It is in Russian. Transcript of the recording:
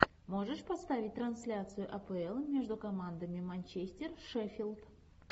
можешь поставить трансляцию апл между командами манчестер шеффилд